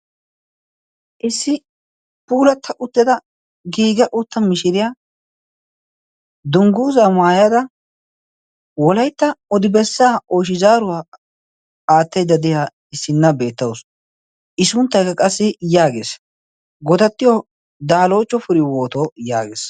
issi puulatta utteda giiga utta mishiriyaa dungguuza maayada wolaitta odi bessaa oychi zaaruwaa aattaidda de'a issinna beettausu i sunttaykka qassi yaagees godattiyo daalootto firihooto yaagees